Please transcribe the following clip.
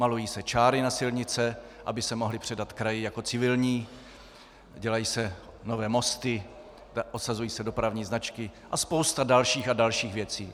Malují se čáry na silnice, aby se mohly předat kraji jako civilní, dělají se nové mosty, osazují se dopravní značky a spousta dalších a dalších věcí.